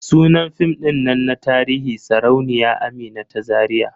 Sunan fim din nan na tarihi Sarauniya Amina ta Zariya.